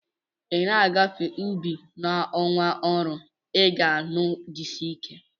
Ị na-agafe n'ubi n'ọnwa ọrụ, ị ga-anụ "jisie ike"